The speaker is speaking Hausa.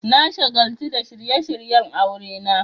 Na shagaltu da shirye-shiryen aurena.